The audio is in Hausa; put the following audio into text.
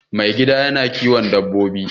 Mai gidan yana kiwon dabbobi